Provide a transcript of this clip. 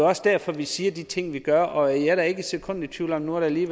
også derfor vi siger de ting vi gør og jeg er da ikke et sekund i tvivl om nu er der lige